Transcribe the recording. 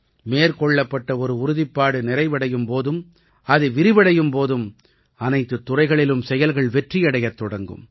மேற்கொள்ளப்பட்ட ஒரு உறுதிப்பாடு நிறைவடையும் போதும் அது விரிவடையும் போதும் அனைத்துத் துறைகளிலும் செயல்கள் வெற்றியடையத் தொடங்கும்